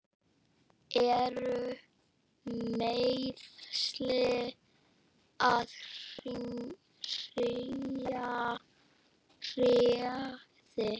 Eru meiðsli að hrjá þig?